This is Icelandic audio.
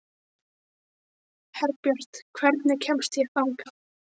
Herbjört, hvernig kemst ég þangað?